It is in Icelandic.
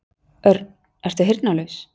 Örn, ertu heyrnarlaus?